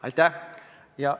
Aitäh!